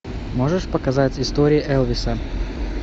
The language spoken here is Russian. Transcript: можешь показать истории элвиса